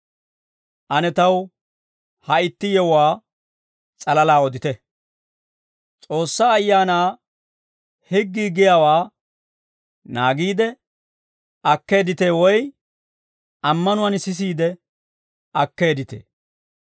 Ane taw ha itti yewuwaa s'alalaa odite: S'oossaa Ayaanaa, higgii giyaawaa naagiide akkeedditee woy ammanuwaan sisiide akkeedditee?